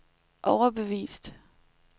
overbevist